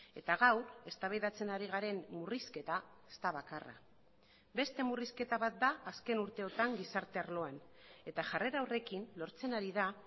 eta gaur eztabaidatzen ari garen murrizketa ez da bakarra beste murrizketa bat da azken urteotan gizarte arloan eta jarrera horrekin lortzen ari da